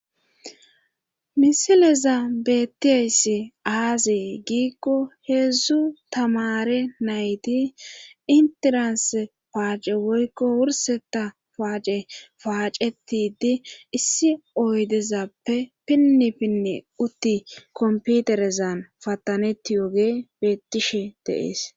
misileza beettiyayssi aazi giikko heedzdzu tamare nayti intiranse paace woykko wurseta paace paacetidi issi oydezappe pinnipinne utti komputerezan pattanetti yoge beettishe deees.